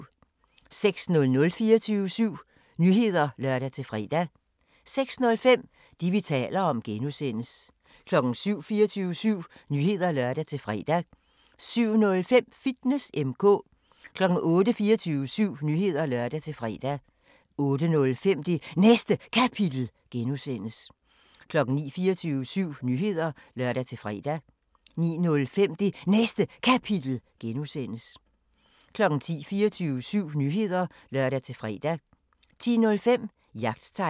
06:00: 24syv Nyheder (lør-fre) 06:05: Det, vi taler om (G) 07:00: 24syv Nyheder (lør-fre) 07:05: Fitness M/K 08:00: 24syv Nyheder (lør-fre) 08:05: Det Næste Kapitel (G) 09:00: 24syv Nyheder (lør-fre) 09:05: Det Næste Kapitel (G) 10:00: 24syv Nyheder (lør-fre) 10:05: Jagttegn